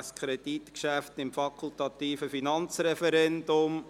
Dieses Kreditgeschäft untersteht dem fakultativen Finanzreferendum.